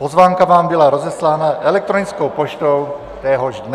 Pozvánka vám byla rozeslána elektronickou poštou téhož dne.